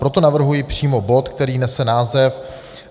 Proto navrhuji přímo bod, který nese název